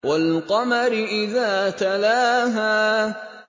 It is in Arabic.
وَالْقَمَرِ إِذَا تَلَاهَا